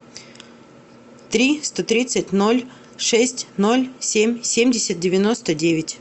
три сто тридцать ноль шесть ноль семь семьдесят девяносто девять